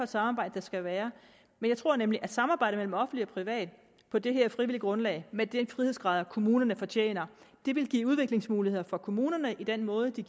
samarbejde der skal være jeg tror nemlig at et samarbejde mellem offentlig og privat på det her frivillige grundlag med de frihedsgrader kommunerne fortjener vil give udviklingsmuligheder for kommunerne i den måde de